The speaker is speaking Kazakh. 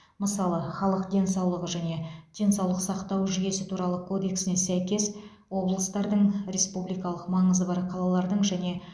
мысалы халық денсаулығы және денсаулық сақтау жүйесі туралы кодексіне сәйкес облыстардың республикалық маңызы бар қалалардың және